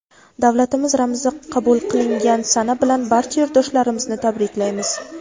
Davlatimiz ramzi qabul qilingan sana bilan barcha yurtdoshlarimizni tabriklaymiz!.